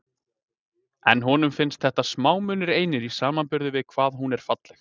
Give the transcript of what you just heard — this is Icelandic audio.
En honum finnst þetta smámunir einir í samanburði við það hvað hún er falleg.